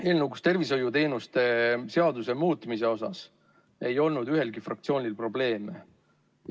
Eelnõuga tervishoiuteenuste korraldamise seaduse muutmise kohta ei olnud ühelgi fraktsioonil probleeme.